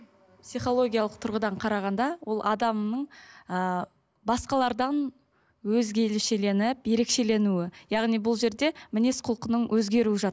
психологиялық тұрғыдан қарағанда ол адамның ыыы басқалардан өзгешеленіп ерекшеленуі яғни бұл жерде мінез құлқының өзгеруі